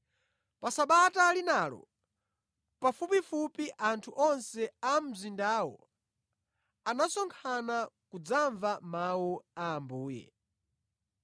Pa Sabata linalo pafupifupi anthu onse a mu mzindawo anasonkhana kudzamva Mawu a Ambuye.